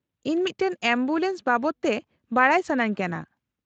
-ᱤᱧ ᱢᱤᱫᱴᱟᱝ ᱮᱢᱵᱩᱞᱮᱱᱥ ᱵᱟᱵᱚᱫ ᱛᱮ ᱵᱟᱰᱟᱭ ᱥᱟᱹᱱᱟᱹᱧ ᱠᱟᱱᱟ ᱾